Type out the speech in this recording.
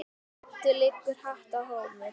Eddu liggur hátt rómur.